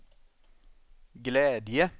glädje